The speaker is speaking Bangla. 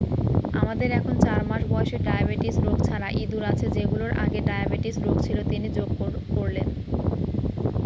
"""আমাদের এখন ৪-মাস-বয়সী ডায়াবেটিস রোগ ছাড়া ইদুর আছে যেগুলোর আগে ডায়াবেটিস রোগ ছিল," তিনি যোগ করলেন।